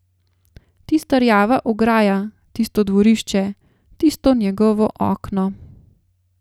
Tista rjava ograja, tisto dvorišče, tisto njegovo okno ...